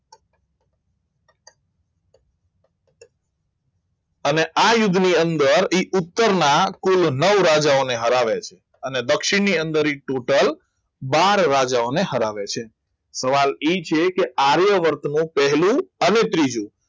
અને આ યુદ્ધની અંદર એ ઉત્તરના કુલ નવ રાજાઓને હરાવે છે અને દક્ષિણની અંદર એ ટોટલ બાર રાજાઓને હરાવે છે સવાલ એ છે કે આર્યવર્તનો પહેલો અને ત્રીજો